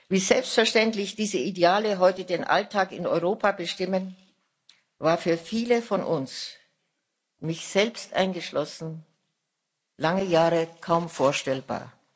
Wie selbstverständlich diese Ideale heute den Alltag in Europa bestimmen, war für viele von uns mich selbst eingeschlossen lange Jahre kaum vorstellbar.